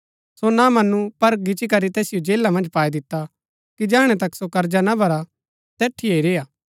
सो ना मनु पर गिच्ची करी तैसिओ जेला मन्ज पाई दिता कि जैहणै तक सो कर्जा ना भरा तैठिये ही रेय्आ